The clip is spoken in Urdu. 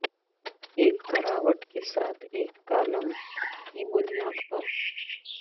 ایک کراوٹ کے ساتھ ایک کالم کی بنیاد پر